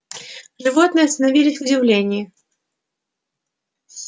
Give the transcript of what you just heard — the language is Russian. животные остановились в удивлении